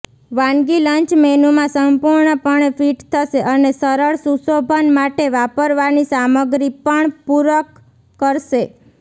વાનગી લંચ મેનૂમાં સંપૂર્ણપણે ફિટ થશે અને સરળ સુશોભન માટે વાપરવાની સામગ્રી પણ પૂરક કરશે